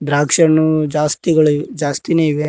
ದ್ರಾಕ್ಷಿ ಹಣ್ಣು ಜಾಸ್ತಿಗಳು ಜಾಸ್ತಿನೇ ಇವೆ.